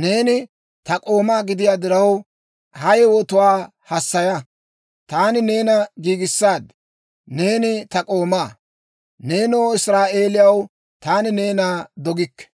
neeni ta k'oomaa gidiyaa diraw, ha yewotuwaa hassaya. Taani neena giigissaad; neeni ta k'oomaa. Neenoo Israa'eeliyaw, taani neena dogikke.